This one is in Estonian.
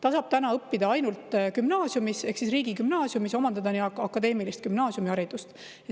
Ta saab õppida ainult gümnaasiumis, riigigümnaasiumis omandada akadeemilist gümnaasiumiharidust.